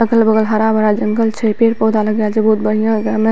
अगल-बगल हरा-भरा जंगल छै पेड़-पौधा लग रहल छै बहुत बढ़िया ए में।